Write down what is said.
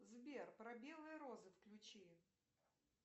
сбер про белые розы включи